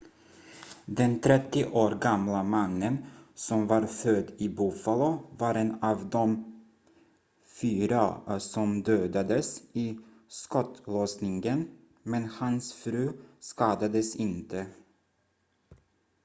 den 30 år gamla mannen som var född i buffalo var en av de fyra som dödades i skottlossningen men hans fru skadades inte